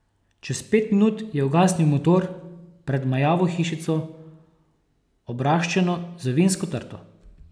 Čez pet minut je ugasnil motor pred majavo hišico, obraščeno z vinsko trto.